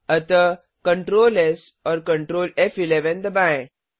अतः Ctrl S और Ctrl फ़11 दबाएँ